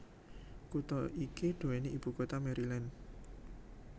Kutha iki duweni ibu kota Maryland